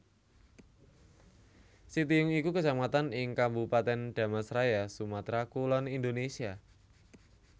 Sitiung iku Kecamatan ing Kabupatèn Dharmasraya Sumatra Kulon Indonesia